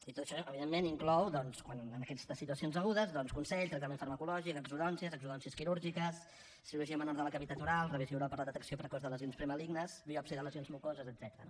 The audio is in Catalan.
i tot això evidentment inclou quan en aquestes situacions agudes doncs consell tractament farmacològic exodòncies exodòncies quirúrgiques cirurgia menor de la cavitat oral revisió oral per a la detecció precoç de lesions premalignes biòpsia de lesions mucoses etcètera